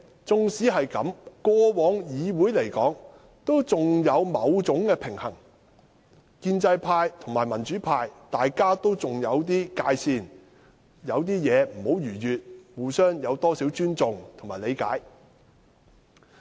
縱使如此，議會過往仍有某種平衡，建制派和民主派仍有不會逾越的界線，互相保留幾分尊重和理解。